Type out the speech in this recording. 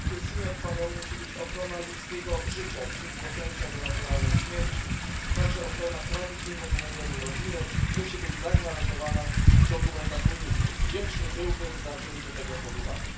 Warunkiem musi być ochrona ludzkiego życia od chwili poczęcia do naturalnej śmierci, także ochrona tradycyjnego modelu rodziny musi być zagwarantowana w dokumentach unijnych. Wdzięczny byłbym za wzięcie tego pod uwagę.